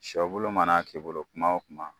Sɔ bulu mana k'i bolo kuma o kuma.